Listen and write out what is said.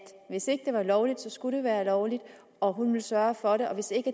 hvis ikke det var lovligt så skulle det være lovligt og hun ville sørge for det og at hvis ikke